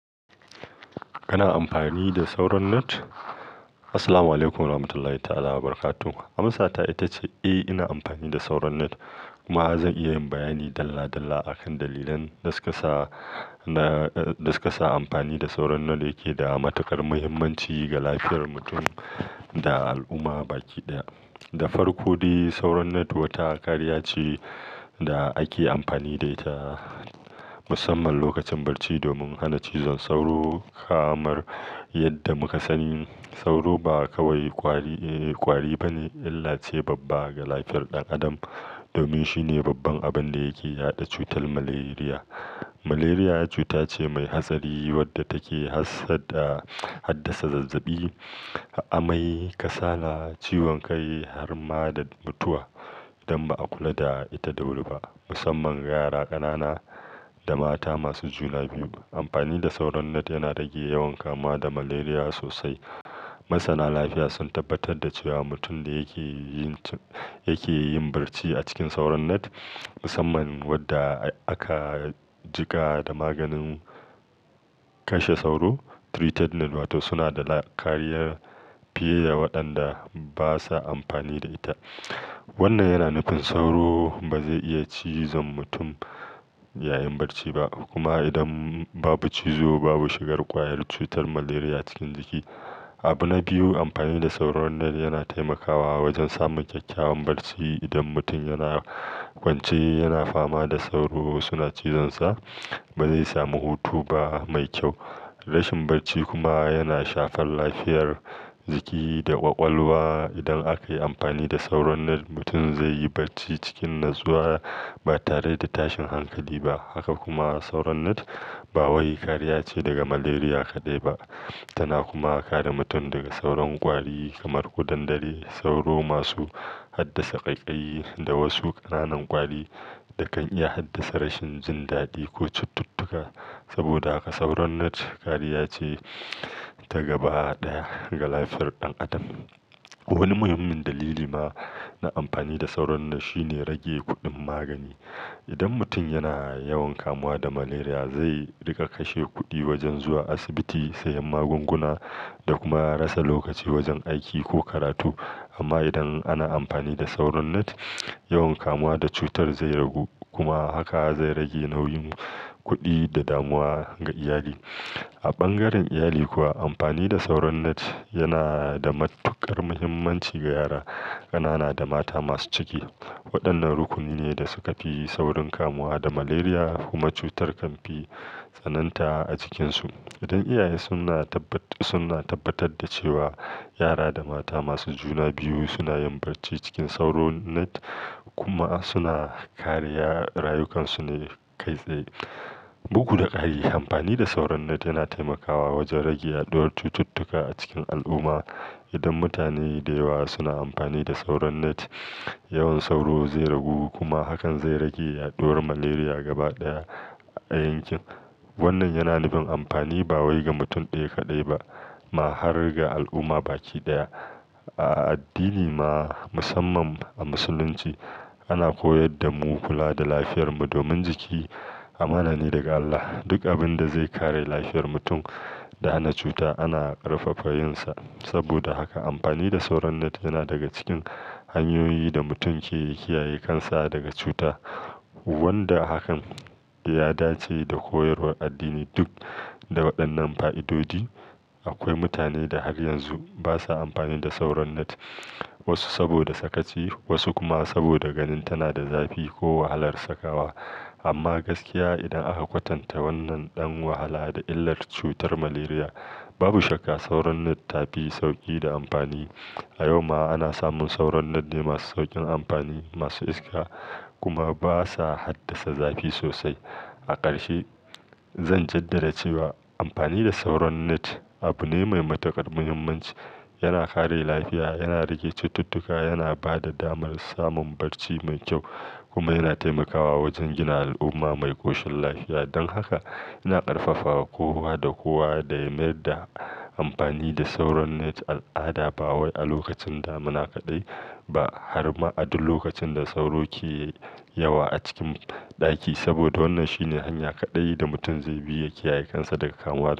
Kana amfani da sauran net? Assalamualaikum warahmatullahi ta'ala wabarakatuhu. Amsa ta ita ce, eh, ina amfani da sauran net. Kuma zan iya yin bayani dalla dalla a kan dalilan da su ka sa na, da su ka sa amfani da sauran net yake da matuƙar muhimmanci ga lafiyar mutum da al'umma baki daya. Da farko dai, sauran net wata kariya ce da ake amfani da ita musamman lokacin barci domin hana cizon sauro. Kamar yadda muka sani sauro ba kawai kwari, eh, kwari ba ne illace babba ga lafiyar ɗan adam. Domin shine babban abin da yake yaɗa cutar malaria. Malaria cuta ce mai hatsari wadda take hassada, haddasa zazzabi, amai, kasala, ciwon kai, har ma da mutuwa idan ba a kula da ita da wuri ba. Musamman ga yara ƙanana da mata masu juna biyu. Amfani da sauran net yana rage yawan kamuwa da malaria sosai. Masana lafiya sun tabbatar da cewa mutum da yake yin, yake yin barci a cikin sauran net, musamman wadda aka jika da maganin kashe sauro, treated net wato suna da kariya fiye da waɗanda basa amfani da ita. Wannan yana nufin sauro ba zai iya cizon mutum yayin barci ba. Kuma idan babu cizo babu shigar ƙwayar cutar malaria cikin jiki. Abu na biyu, amfani da sauran net yana taimakawa wajen samun kyakkyawan barci. Idan mutum yana kwance yana fama da sauro suna cizon sa, ba zai samu hutu ba mai kyau. Rashin barci kuma yana shafar lafiyar jiki da ƙwaƙwalwa. Idan aka yi amfani da sauran net, mutum zai yi barci cikin natsuwa ba tare da tashin hankali ba. Haka kuma sauran net ba wai kariya ce daga malaria kaɗai ba. Tana kuma kare mutum daga sauran ƙwari kamar kudandare, sauro masu haddasa ƙaiƙayi da wasu ƙananan ƙwari da kan iya haddasa rashin jin daɗi ko cututtuka. Saboda haka sauran net kariya ce ta gaba daya ga lafiyar ɗan adam. Wani muhimmin dalili ma na amfani da sauran net shine rage kuɗin magani. Idan mutum yana yawan kamuwa da malaria zai riƙa kashe kuɗi wajen zuwa asibiti, sayan magunguna da kuma rasa lokaci wajen aiki ko karatu. Amma idan ana amfani da sauran net, yawan kamuwa da cutar zai ragu, kuma haka zai rage nauyin kuɗi da damuwa ga iyali. A bangaren iyali kuwa amfani da sauran net yana da matuƙar muhimmanci ga yara ƙanana da mata masu ciki. Waɗannan rukuni ne da suka fi saurin kamuwa da malaria kuma cutar kan fi tsananta a cikinsu. Idan iyaye suna tabbat, suna tabbatar da cewa yara da mata masu juna biyu suna yin barci cikin sauran net kuma suna kariya, rayukansu ne kai tsaye. Bugu da ƙari amfani da sauran net yana taimakawa wajen rage yaduwar cututtuka a cikin al'umma. Idan mutane da yawa suna amfani da sauran net, yawan sauro zai ragu kuma hakan zai rage yaduwar malaria gaba ɗaya a yankin. Wannan yana nufin amfani ba wai ga mutum ɗaya kaɗai ba ma har ga al'umma baki daya. A addini ma musamman a musulunci ana koyar da mu kula da lafiyarmu domin jiki amanani daga Allah. Duk abin da zai kare lafiyar mutum da hana cuta ana ƙarfafa yinsa. Saboda haka amfani da sauran net yana daga cikin hanyoyin da mutum ke kiyaye kansa daga cuta. Wanda hakan ya dace da koyarwar addini duk. Da waɗannan fa'idodi akwai mutane da har yanzu basa amfani da sauran net. Wasu saboda sakaci, wasu kuma saboda ganin tana da zafi ko wahalar sakawa. Amma gaskiya idan aka kwatanta wannan ɗan wahala da illar cutar malaria babu shakka sauran net ta fi sauƙi da amfani. A yau ma ana samun sauran net ne masu sauƙin amfani, masu iska kuma basa haddasa zafi sosai. A ƙarshe zan jaddada cewa amfani da sauran net abu ne mai matuƙar muhimmanci. Yana kare lafiya, yana rage cututtuka, yana ba da damar samun barci mai kyau kuma yana taimakawa wajen gina al'umma mai koshin lafiya. Don haka ina ƙarfafawa kowa da kowa da ya mayar da amfani da sauran net al'ada ba wai a lokacin damuna kaɗai ba, har ma a duk lokacin da sauro ke yawa a cikin ɗaki. Saboda wannan shine hanya kaɗai da mutum zai bi ya kiyaye kansa daga kamuwa da cutar.